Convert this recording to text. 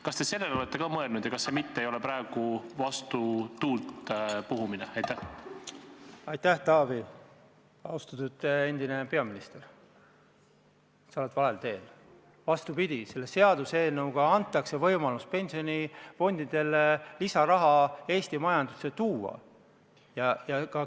Kas te sellele olete ka mõelnud ja kas see mitte ei ole praegu vastu tuult sülitamine?